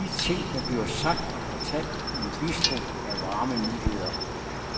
De ting der bliver sagt og fortalt i en bistro er varme nyheder.